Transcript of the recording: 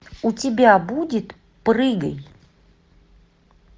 у тебя будет прыгай